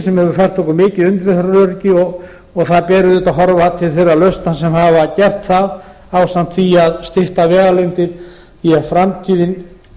sem hefur fært okkur mikið umferðaröryggi og þar ber auðvitað að horfa til þeirra lausna sem hafa gert það ásamt því að stytta vegalengdir því að framtíðin